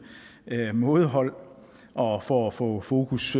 mådehold og for at få fokus